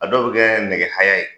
A dɔw bi kɛ nɛgɛ haya ye